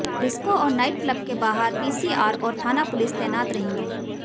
disco और night club के बाहर पीसीआर और थाना पुलिस तैनात रहेगी